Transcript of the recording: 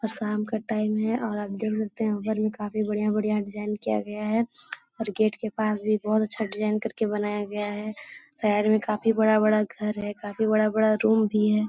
और शाम का टाइम है और आप देख सकते है ऊपर में काफी बढ़िया-बढ़िया डिज़ाइन किया गया है और गेट के पास भी बहुत अच्छा डिज़ाइन करके बनाया गया है साइड में काफी बड़ा-बड़ा घर है काफी बड़ा-बड़ा रूम भी है।